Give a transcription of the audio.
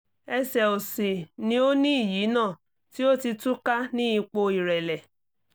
ẹ̀sẹ̀ òsì ni ó ní ìyínà tí ó ti tú ká ní ipò ìrẹ́lẹ̀